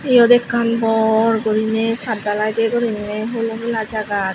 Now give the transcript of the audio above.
yot ekkan bor guriney sat dalai de guriney hulo mela jagat.